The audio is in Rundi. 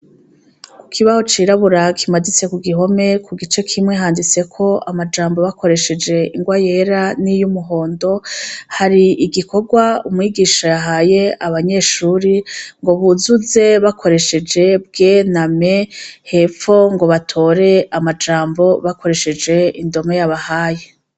Ku kibaho cirabura kimaditse ku gihome ku gice kimwe handitseko amajambo bakoresheje ingwa yera n'iy'umuhondo, hari igikorwa umwigisha yahaye abanyeshuri ngo buzuze bakoresheje "Bw" na "M", hepfo ngo batore amajambo bakoresheje indome yabahaye.